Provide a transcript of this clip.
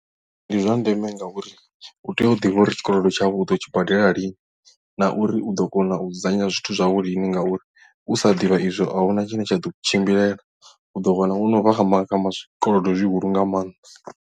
Ndi zwa ndeme ngauri u tea u ḓivha uri tshikolodo tshau uḓo tshi badela lini na uri u ḓo kona u dzudzanya zwithu zwau lini ngauri u sa ḓivha izwo a huna tshine tsha ḓo u tshimbilela u ḓo wana wono vha kha zwikolodo zwihulu nga maanḓa.